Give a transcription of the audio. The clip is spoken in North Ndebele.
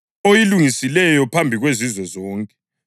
oyilungisileyo phambi kwezizwe zonke,